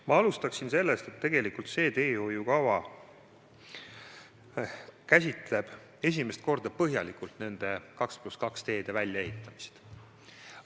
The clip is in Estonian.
Ma alustan sellest, et tegelikult see teehoiu kava käsitleb esimest korda põhjalikult 2 + 2 teede väljaehitamist.